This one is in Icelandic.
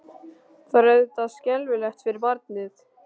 Það er auðvitað skelfilegt fyrir barnið.